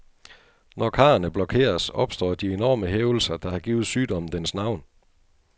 Når karrene blokeres, opstår de enorme hævelser, der har givet sygdommen dens navn.